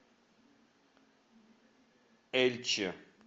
эльче